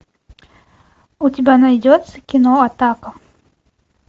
у тебя найдется кино атака